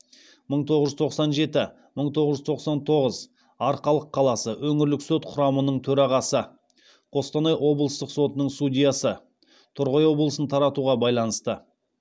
мың тоғыз жүз тоқсан жеті мың тоғыз жүз тоқсан тоғыз арқалық қаласы өңірлік сот құрамының төрағасы қостанай облыстық сотының судьясы